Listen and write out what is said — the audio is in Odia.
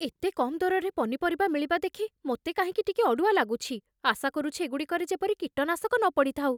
ଏତେ କମ୍ ଦରରେ ପନିପରିବା ମିଳିବା ଦେଖି ମୋତେ କାହିଁକି ଟିକେ ଅଡ଼ୁଆ ଲାଗୁଛି, ଆଶା କରୁଛି ଏଗୁଡ଼ିକରେ ଯେପରି କୀଟନାଶକ ନ ପଡ଼ିଥାଉ।